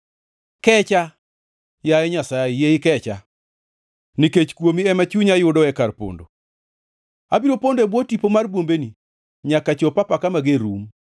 Kecha, yaye Nyasaye, yie ikecha nikech kuomi ema chunya yudoe kar pondo. Abiro pondo e bwo tipo mar bwombeni nyaka chop apaka mager rum.